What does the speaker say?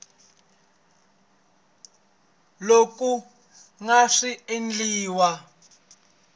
loko ku nga si endliwa